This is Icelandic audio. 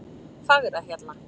Fagrahjalla